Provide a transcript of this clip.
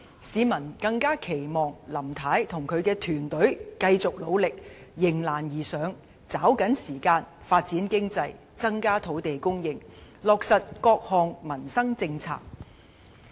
市民更期望林太與其團隊繼續努力，迎難而上，抓緊時間發展經濟，增加土地供應，落實各項民生政策。